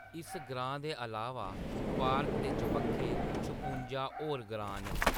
इस ग्रांऽ दे अलावा, पार्क दे चबक्खै छपुंजा होर ग्रांऽ न।